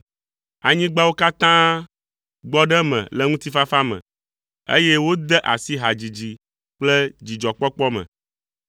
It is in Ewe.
Anyigbawo katã gbɔ ɖe eme le ŋutifafa me, eye wode asi hadzidzi kple dzidzɔkpɔkpɔ me.